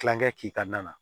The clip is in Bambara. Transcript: Kilankɛ k'i ka na